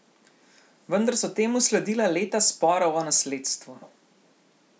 Vendar so temu sledila leta sporov o nasledstvu.